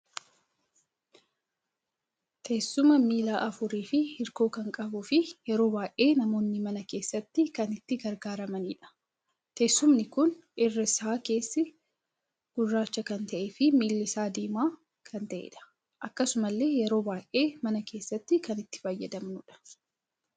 Teessuma miilla afuurii fi hirkoo kan qabu fi yeroo baay'ee namoonni mana keessatti kan itti gargaaramanidha. teessumni kun irri isaa keessi gurraacha kan ta'ee fi miilli isa diimaa kan ta'edha. Akkasumalle yeroo baay'ee mana keessatti kan itti fayyadamnudha.